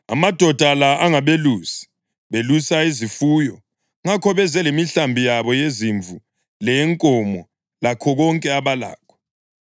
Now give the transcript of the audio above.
Amadoda la angabelusi; belusa izifuyo, ngakho beze lemihlambi yabo yezimvu leyenkomo lakho konke abalakho.’